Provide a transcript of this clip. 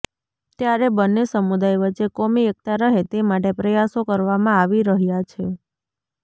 ત્યારે બન્ને સમુદાય વચ્ચે કોમી એકતા રહે તે માટે પ્રયાસો કરવામાં આવી રહ્યા છે